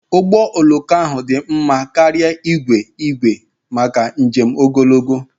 Ụgbọ oloko ahụ dị mma karịa igwe igwe maka njem ogologo.